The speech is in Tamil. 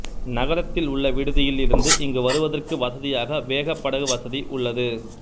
நகரத்தில் உள்ள விடுதியில் இருந்து இங்கு வருவதற்கு வசதியாக வேகப்படகு வசதி உள்ளது